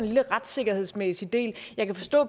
lille retssikkerhedsmæssig del jeg kan forstå